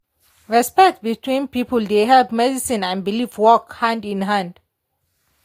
respect between people dey help medicine and belief work hand in hand.